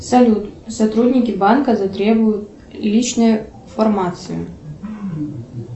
салют сотрудники банка затребуют личную информацию